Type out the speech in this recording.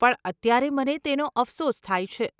પણ અત્યારે મને તેનો અફસોસ થાય છે.